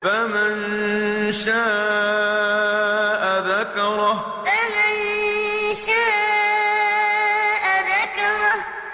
فَمَن شَاءَ ذَكَرَهُ فَمَن شَاءَ ذَكَرَهُ